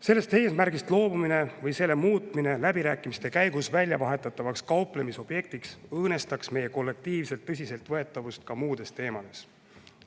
Sellest eesmärgist loobumine või selle muutmine läbirääkimiste käigus väljavahetatavaks kauplemisobjektiks õõnestaks meie kollektiivset tõsiseltvõetavust ka muudes teemades.